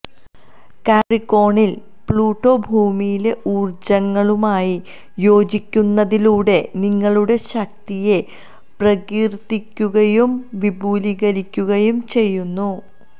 കാപ്രിക്കോണിൽ Pluto ഭൂമിയിലെ ഊർജ്ജങ്ങളുമായി യോജിക്കുന്നതിലൂടെ നിങ്ങളുടെ ശക്തിയെ പ്രകീർത്തിക്കുകയും വിപുലീകരിക്കുകയും ചെയ്യുന്നു